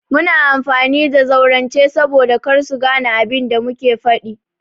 Muna amfani da zaurance saboda kar su gane abin da muke faɗi.